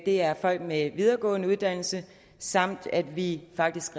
det er folk med en videregående uddannelse samtidig reducerer vi faktisk